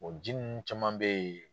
O ji ninnu caman be yen